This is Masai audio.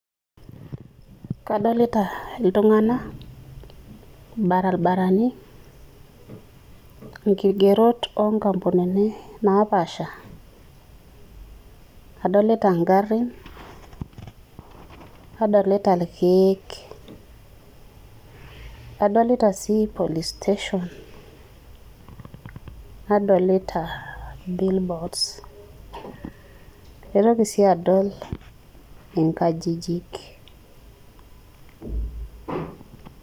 Kadolita iltung'anak, ilbarabarani ilkigerot loo ng'ambunini napaasha adolita ing'arrin nadolita irkiek, adolita sii Police station nadolita Bill boards Aitoki sii adol eengajijik.